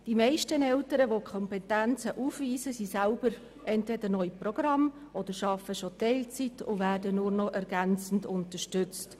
Die meisten Eltern, die solche Kompetenzen haben, sind entweder selbst noch in einem Programm oder arbeiten schon teilzeitlich und werden noch ergänzend unterstützt.